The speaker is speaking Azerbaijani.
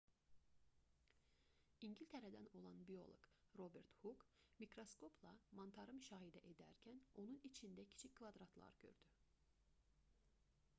i̇ngiltərədən olan bioloq robert huk mikraskopla mantarı müşahidə edərkən onun içində kiçik kvadratlar gördü